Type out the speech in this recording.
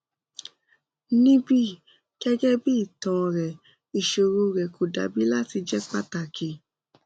nibi gẹgẹbi itan rẹ iṣoro rẹ ko dabi lati jẹ pataki